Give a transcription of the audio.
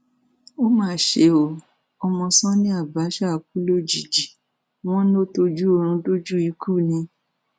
ó mà ṣe o ọmọ sani abache kú lójijì wọn lọ tọjú oorun dójú ikú ni